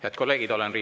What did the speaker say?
Head kolleegid!